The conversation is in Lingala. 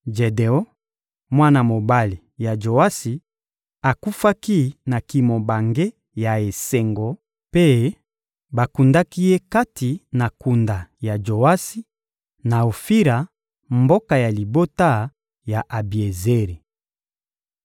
Jedeon, mwana mobali ya Joasi, akufaki na kimobange ya esengo, mpe bakundaki ye kati na kunda ya Joasi, na Ofira, mboka ya libota ya Abiezeri.